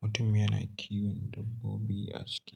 mutum yana kiwon dabbobi a ciki.